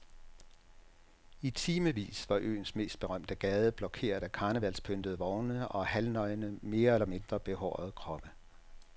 I timevis var øens mest berømte gade blokeret af karnevalspyntede vogne og halvnøgne mere eller mindre behårede kroppe.